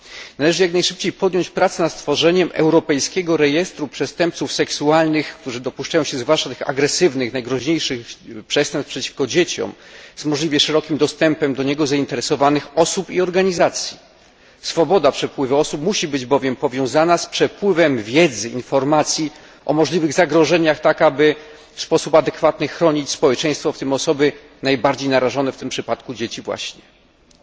Należy jak najszybciej podjąć pracę nad stworzeniem europejskiego rejestru przestępców seksualnych, którzy dopuszczają się zwłaszcza tych agresywnych, najgroźniejszych przestępstw przeciwko dzieciom, z możliwie szerokim dostępem do niego zainteresowanych osób i organizacji. Swoboda przepływu osób musi być bowiem powiązana z przepływem wiedzy oraz informacji o możliwych zagrożeniach tak, aby w sposób adekwatny chronić społeczeństwo, w tym osoby najbardziej narażone, w tym przypadku właśnie dzieci.